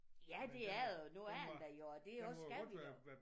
Ja det er det og nu er den der jo og det også skal den også